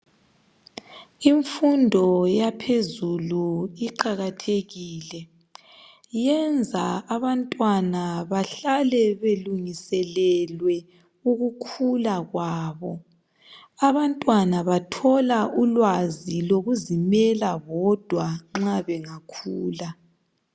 Imfundo yaphezulu iqakathekile, Iyenza abantwana bahlale belungiselelwe ukukhula kwabo. Abantwana bathola ulwazi lokuzimela bodwa nxa bangakhula.